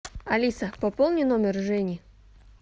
алиса пополни номер жени